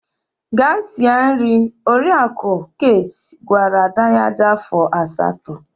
Gaa sie nri! Oriakụ Kate gwara ada ya dị afọ asatọ.